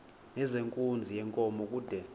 nezenkunzi yenkomo kude